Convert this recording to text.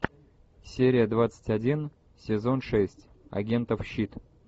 серия двадцать один сезон шесть агентов щит